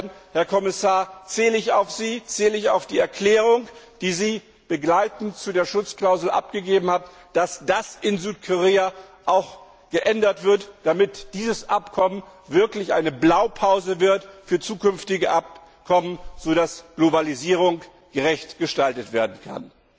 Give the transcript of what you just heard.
Insofern, Herr Kommissar, zähle ich auf Sie, zähle ich auf die Erklärung, die Sie begleitend zu der Schutzklausel abgegeben haben, dass das in Südkorea auch geändert wird, damit dieses Abkommen eine Blaupause für zukünftige Abkommen wird, sodass Globalisierung gerecht gestaltet werden kann.